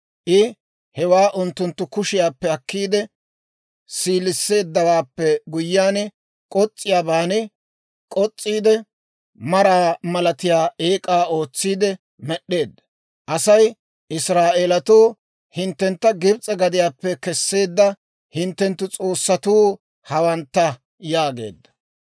I hewaa unttunttu kushiyaappe akkiide, siiliseeddawaappe guyyiyaan k'os's'iyaaban k'os's'iide, maraa malatiyaa eek'aa ootsiidde med'd'eedda. Asay, «Israa'eelatoo, hinttentta Gibs'e gadiyaappe kesseedda hinttenttu s'oossatuu hawantta» yaageedda.